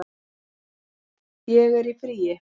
Ég er í fríi